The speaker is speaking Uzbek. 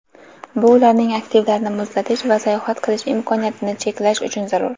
bu ularning aktivlarini muzlatish va sayohat qilish imkoniyatini cheklash uchun zarur.